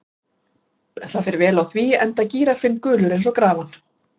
Það fer vel á því, enda er gíraffinn gulur eins og grafan.